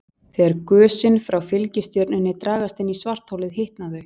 Þegar gösin frá fylgistjörnunni dragast inn í svartholið hitna þau.